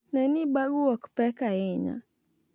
Ne ni bagu ok pek ahinya.